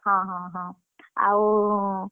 ହଁ ହଁ ହଁ, ଆଉ।